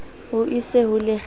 o e ise ho lekgathe